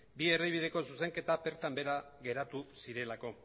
bi erdibideko zuzenketak bertan behera geratu zirelako